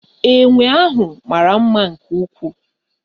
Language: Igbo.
Enwe ahụ mara mma nke ukwuu